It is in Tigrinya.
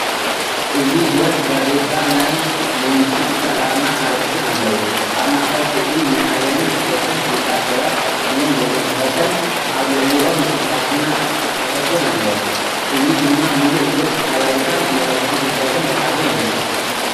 እዚ ገጽ ጋዜጣ ናይ መንግስቲ ትካል ኣርማን ኣርእስትን ኣለዎ። ኣብ ማእከል ስእሊ ናይ ዓለምን ስፖርትን ፍሉጣት ሰባት (ስሞም ዘይተጠቕሰ)ን ኣብ ልዕሊኦም ዝተሓትመ ጽሑፍን ኣሎ። እዚ ድማ ምሉእ ገጽ ሓበሬታን መልእኽቲ ፍልጠትን ዝሓዘ ይመስል።